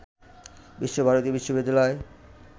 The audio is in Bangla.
বিশ্ব ভারতী বিশ্ববিদ্যালয়ের